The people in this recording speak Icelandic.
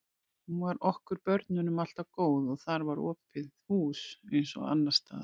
Hún var okkur börnunum alltaf góð og þar var opið hús eins og annars staðar.